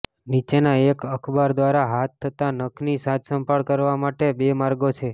નીચેના એક અખબાર દ્વારા હાથ તથા નખની સાજસંભાળ કરવા માટે બે માર્ગો છે